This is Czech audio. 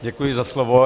Děkuji za slovo.